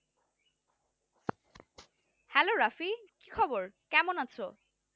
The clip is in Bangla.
হ্যালো রাফি, কি খবর কেমন আছো?